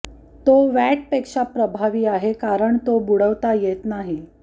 तो वॅटपेक्षा प्रभावी आहे कारण तो बुडवता येत नाही